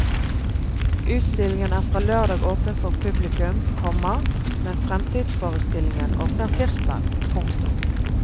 Utstillingen er fra lørdag åpen for publikum, komma men fremtidsforestillingen åpner tirsdag. punktum